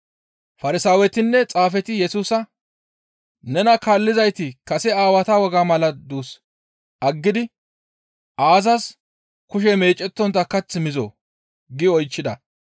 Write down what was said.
Farsaawetinne xaafeti Yesusa, «Nena kaallizayti kase aawata wogaa mala duus aggidi aazas kushe meecettontta kath mizoo?» giidi oychchida.